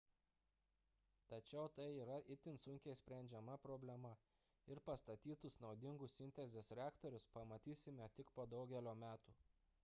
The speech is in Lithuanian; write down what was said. tačiau tai yra itin sunkiai sprendžiama problema ir pastatytus naudingus sintezės reaktorius pamatysime tik po daugelio metų